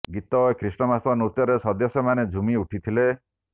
ଗୀତ ଓ ଖ୍ରୀଷ୍ଟମାସ ନୃତ୍ୟରେ ସଦସ୍ୟା ମାନେ ଝୁମି ଉଠିଥିଲେ